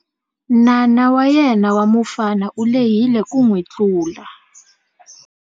N'ana wa yena wa mufana u lehile ku n'wi tlula.